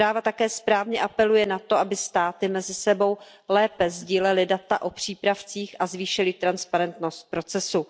Zpráva také správně apeluje na to, aby státy mezi sebou lépe sdílely data o přípravcích a zvýšily transparentnost procesu.